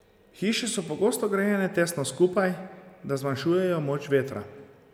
Hiše so pogosto grajene tesno skupaj, da zmanjšujejo moč vetra.